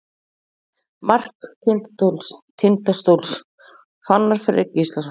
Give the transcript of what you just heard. Mark Tindastóls: Fannar Freyr Gíslason.